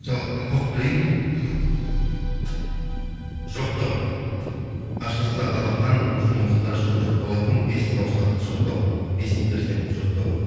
оқып берейін жоқтау ашылса алақан жұмылса жұдырық болатын бес саусақты жоқтау бес перзентті жоқтау